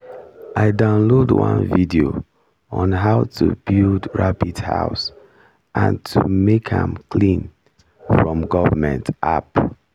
i download one video on how to build rabbit house and to make am clean from government app